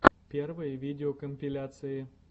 первые видеокомпиляции